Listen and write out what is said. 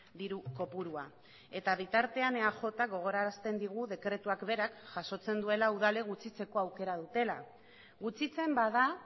diru kopurua eta bitartean eajk gogorarazten digu dekretuak berak jasotzen duela udalek gutxitzeko aukera dutela gutxitzen bada